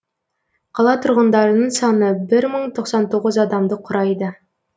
қала тұрғындарының саны бір мың тоқсан тоғыз адамды құрайды